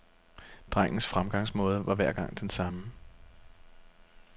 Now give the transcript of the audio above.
Drengens fremgangsmåde var hver gang den samme.